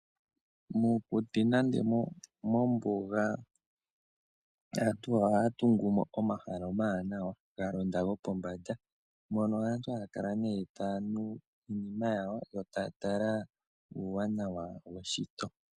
Mokuti nenge mombuga aantu ohaya tungu mo omahala omawanawa galonda gopombanda mono aantu haya kala nee taya nu iinima yawo yo taya tala uuwanawa weshito.